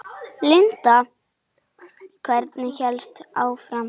Linda: Hvernig hélstu áfram?